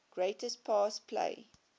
greatest pass play